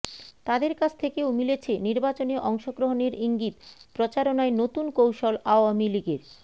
তাদের কাছ থেকেও মিলেছে নির্বাচনে অংশগ্রহণের ইঙ্গিত প্রচারণায় নতুন কৌশল আওয়ামী লীগের